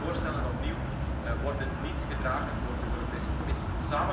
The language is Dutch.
Beide voorstellen opnieuw worden niet gedragen door de Europese Commissie.